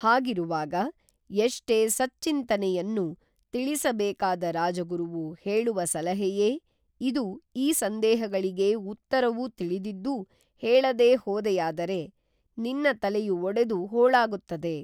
ಹಾಗಿರುವಾಗ ಎಷ್ಟೇ ಸದ್ಚಿಂತನೆಯನ್ನು ತಿಳಿಸ ಬೇಕಾದ ರಾಜಗುರುವು ಹೇಳುವ ಸಲಹೆಯೇ ಇದು ಈ ಸಂದೇಹಗಳಿಗೇ ಉತ್ತರವು ತಿಳಿದಿದ್ದೂ ಹೇಳದೇ ಹೋದೆಯಾದರೆ ನಿನ್ನ ತಲೆಯು ಒಡೆದು ಹೋಳಾಗುತ್ತದೆ